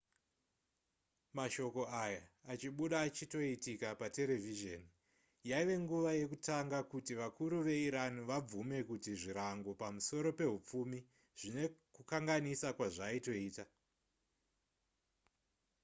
mashoko aya achibuda achitoitika paterevhizheni yaive nguva yekutanga kuti vakuru veiran vabvume kuti zvirango pamusoro pehupfumi zvine kukanganisa kwazvaitoita